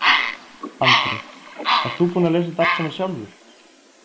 Andri: Ert þú búinn að lesa þetta allt saman sjálfur?